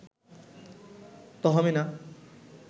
Tahmina